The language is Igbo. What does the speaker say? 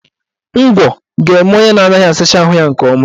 Ngwọ ga-eme onye na-anaghị asa ahụ nke ọma